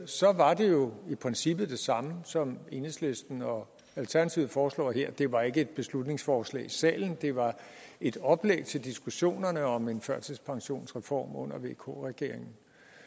så var det jo i princippet det samme som det enhedslisten og alternativet foreslår her det var ikke et beslutningsforslag i salen det var et oplæg til diskussionerne om en førtidspensionsreform under vk regeringen